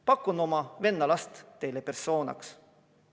Pakun oma venna last teile persooniks.